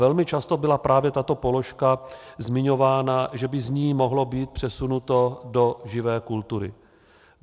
Velmi často byla právě tato položka zmiňována, že by z ní mohlo být přesunuto do živé kultury.